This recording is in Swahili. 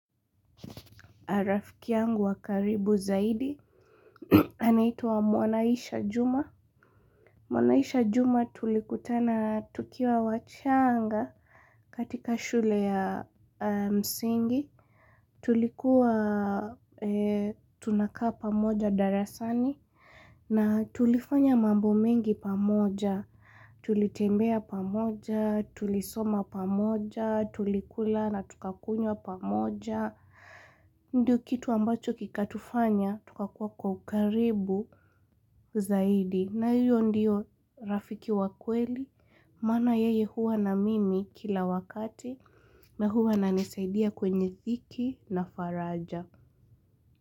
Rafki yangu wakaribu zaidi, anaituwa Mwanaisha Juma. Mwanaisha Juma tulikutana tukiwa wachanga katika shule ya msingi. Tulikuwa tunakaa pamoja darasani na tulifanya mambo mengi pamoja. Tulitembea pamoja, tulisoma pamoja, tulikula na tukakunywa pamoja. Ndiyo kitu ambacho kikatufanya tukakuwa kukaribu zaidi. Na hiyo ndiyo rafiki wa kweli. Maana yeye huwa na mimi kila wakati. Na huwa nanisaidia kwenye dhiki na faraja.